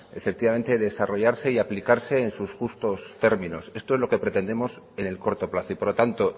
efectivamente desarrollarse y aplicarse en sus justos términos esto es lo que pretendemos en el corto plazo y por lo tanto